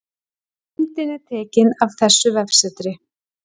Myndin er tekin af þessu vefsetri